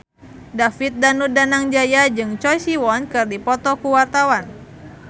David Danu Danangjaya jeung Choi Siwon keur dipoto ku wartawan